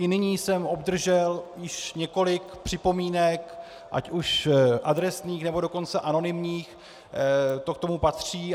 I nyní jsem obdržel již několik připomínek ať už adresných, nebo dokonce anonymních, to k tomu patří.